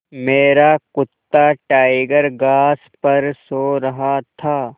मेरा कुत्ता टाइगर घास पर सो रहा था